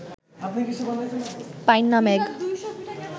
পাইন্না ম্যাগ